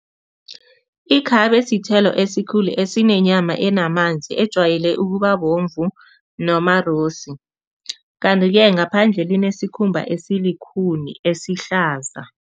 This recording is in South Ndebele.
Ikhabe sithelo esikhulu asinenyama enamanzi ejwayele ukubabomvu noma kanti-ke ngaphandle linesikhumba esilikhuni, esihlaza.